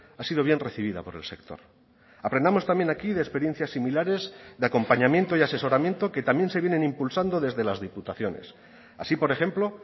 ha sido bien recibida por el sector aprendamos también aquí de experiencias similares de acompañamiento y asesoramiento que también se vienen impulsando desde las diputaciones así por ejemplo